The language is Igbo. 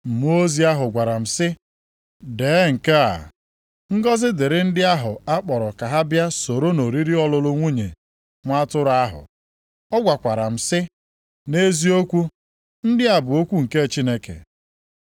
Mmụọ ozi ahụ gwara m sị, “Dee nke a: Ngọzị dịrị ndị ahụ a kpọrọ ka ha bịa soro nʼoriri ọlụlụ nwunye Nwa Atụrụ ahụ.” Ọ gwakwara m sị, “Nʼeziokwu, ndị a bụ okwu nke Chineke.”